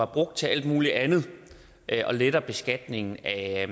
brugt til alt muligt andet og letter beskatningen af